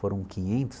Foram quinhentos